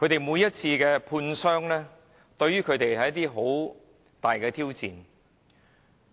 每次判傷過程，對他們來說都是很大的挑戰。